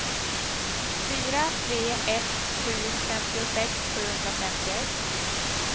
fyra tre ett sju femtiosex sjuhundrafemtioett